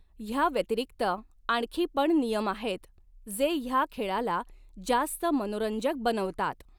ह्या व्यतिरिक्त आणखी पण नियम आहेत, जे ह्या खेळाला जास्त मनोरंजक बनवतात.